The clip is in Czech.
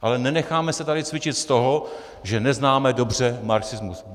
Ale nenecháme se tady cvičit z toho, že neznáme dobře marxismus.